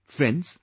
Friends,